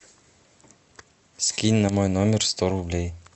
скинь на мой номер сто рублей